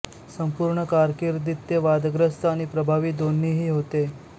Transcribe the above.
संपूर्ण कारकीर्दीत ते वादग्रस्त आणि प्रभावी दोन्हीही होते